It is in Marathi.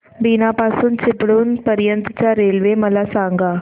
बीना पासून चिपळूण पर्यंत च्या रेल्वे मला सांगा